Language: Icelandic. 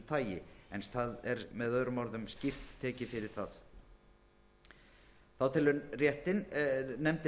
tagi en það er með öðrum orðum skýrt tekið fyrir það þá telur nefndin